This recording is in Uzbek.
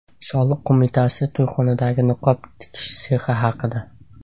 Soliq qo‘mitasi to‘yxonadagi niqob tikish sexi haqida.